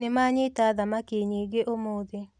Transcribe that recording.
Nĩmanyita thamaki nyingĩ ũmũthĩ